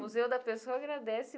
Museu da Pessoa agradece.